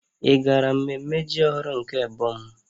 Ị gara mmemme ji ọhụrụ nke ebo m?